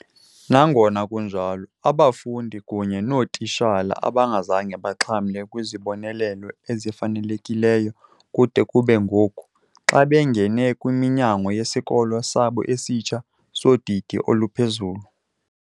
Nangona kunjalo, abafundi kunye nootitshala abazange baxhamle kwizibonelelo ezifanelekileyo kude kube ngoku, xa bengene kwiminyango yesikolo sabo esitsha, sodidi oluphezulu.